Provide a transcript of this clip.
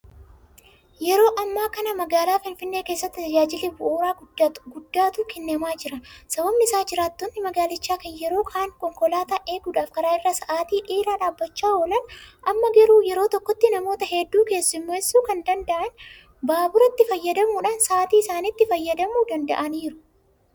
Yeroo ammaa kana magaalaa finfinnee keessatti tajaajilli baaburaa guddaatu kennamaa jira. Sababni isaas jiraattonni magaalichaa kan yeroo kaan konkolaataa eeguudhaaf karaa irra sa'aatii dheeraa dhaabbachaa oolan amma garuu yeroo tokkotti namoota hedduu keessummeessuu kan danda'an baaburatti fayyadamuudhaan sa'aatii isaaniitti fayyadamuu danda'aniiru.